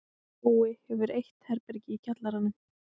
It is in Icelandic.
Bói hefur eitt herbergi í kjallaranum.